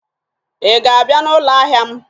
ị ga-abịa n'ụlọ ahịa m?